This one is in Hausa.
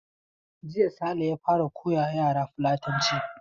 Jiya Sale ya fara koya wa yaransa Fulatanci.